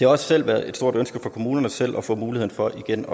også været et stort ønske fra kommunerne selv at få mulighed for igen